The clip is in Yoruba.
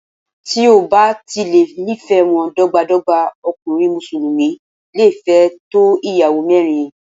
Tí o bá ti lè ní ìfẹ́ wọn dọ́gba dọ́gba, ọkùnrin Mùsùlùmí le fẹ́ tó Ìyàwó mẹ́rin.